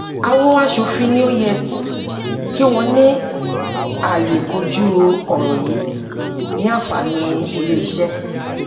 àwọn asòfin ni ó yẹ kí wọn ní àyè kojú ọrọ yìí ní àǹfàní ilé iṣé